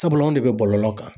Sabula , anw de bɛ bɔlɔlɔw kan